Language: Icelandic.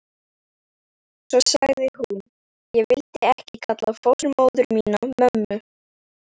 Svo sagði hún: Ég vildi ekki kalla fósturmóður mína mömmu.